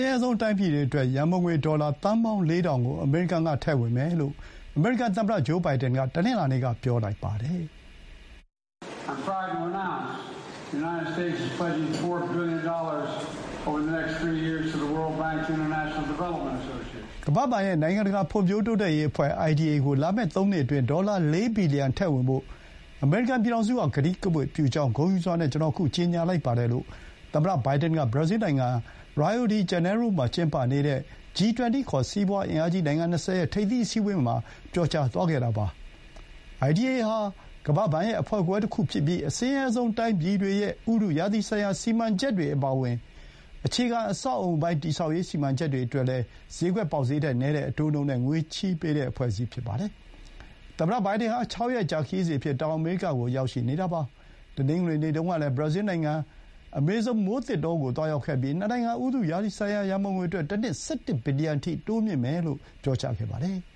းရဲဆုံး တိုင်းပြည်တွေအတွက် ရံပုံငွေ ဒေါ်လာ သန်းပေါင်း ၄၀၀၀ ကို အမေရိကန် က ထည့်ဝင်မယ်လို့ အမေရိကန် သမ္မတ ဂျိုးဘိုင်ဒန် က တနင်္လာနေ့က ပြောလိုက်ပါတယ်။ “ကမ္ဘာ့ဘဏ်ရဲ့ နိုင်ငံတကာ ဖွံ့ဖြိုးတိုးတက်ရေး အဖွဲ့ (IDA) ကို လာမယ့် ၃ နှစ်အတွင်း ဒေါ်လာ ၄ ဘီလီယံ ထည့်ဝင်ဖို့ အမေရိကန် ပြည်ထောင်စုက ကတိကဝတ်ပြုကြောင်း ဂုဏ်ယူစွာနဲ့ ကျွန်တော် အခု ကြေညာလိုက်ပါတယ်။” လို့ သမ္မတ ဘိုင်ဒန်က ဘရာဇီးနိုင်ငံ Rio De Janeiro မှာ ကျင်းပနေတဲ့ G 20 ခေါ် စီးပွါး အင်အားကြီး နိုင်ငံ ၂၀ ရဲ့ ထိပ်သီး အစည်းအဝေးမှာ ပြောသွားခဲ့တာပါ။ IDA ဟာ ကမ္ဘာ့ဘဏ်ရဲ့ အဖွဲ့ခွဲတခုဖြစ်ပြီး၊ အဆင်းရဲဆုံးတိုင်းပြည်တွေရဲ့ ဥတုရာသီဆိုင်ရာ စီမံချက်တွေ အပါအဝင် အခြေခံ အဆောက်အအုံ တည်ဆောက်ရေး စီမံချက်တွေအတွက် စျေးကွက် ပေါက်စျေးထက် နည်းတဲ့ အတိုးနှုန်းနဲ့ ငွေချေးပေးတဲ့ အဖွဲ့အစည်း ဖြစ်ပါတယ်။ သမ္မတ ဘိုင်ဒန် ဟာ ၆ ရက်ကြာ ခရီးစဥ်အဖြစ် တောင်အမေရိကကို ရောက်နေတာပါ။ တနင်္ဂနွေနေ့တုန်းကလည်း ဘရာဇီးလ်နိုင်ငံရဲ့ အမေဇုံ မိုးသစ်တောကို သွားရောက်ခဲ့ပြီး နှစ်နိုင်ငံ ဥတုရာသီဆိုင်ရာ ရံပုံငွေအတွက် တနှစ် ၁၁ ဘီလီယံအထိ တိုးမြှင့်မယ်လို့ ပြောပါတယ်။